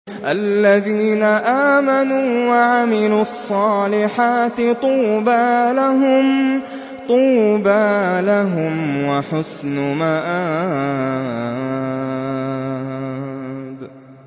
الَّذِينَ آمَنُوا وَعَمِلُوا الصَّالِحَاتِ طُوبَىٰ لَهُمْ وَحُسْنُ مَآبٍ